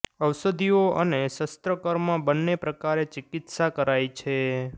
ઔષધિઓ અને શસ્ત્રકર્મ બનેં પ્રકારે ચિકિત્સા કરાય છે